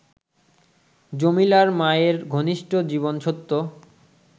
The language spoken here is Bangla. জমিলার মায়ের ঘনিষ্ঠ জীবনসত্য